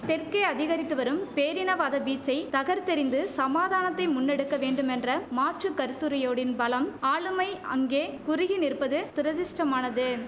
தெற்கே அதிகரித்து வரும் பேரினவாத வீச்சை தகர்க்தெறிந்து சமாதானத்தை முன்னெடுக்க வேண்டுமென்ற மாற்று கருத்துருயோடின் பலம் ஆளுமை அங்கே குறுகி நிற்பது துரதிஷ்டமானது